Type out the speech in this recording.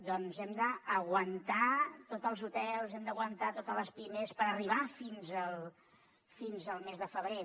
doncs hem d’aguantar tots els hotels hem d’aguantar totes les pimes per arribar fins al mes de febrer